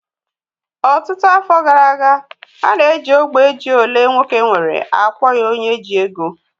Ọtụtụ afọ gara aga, a na-eji ógbè ji olee nwoke nwere akpọ ya onye ji ego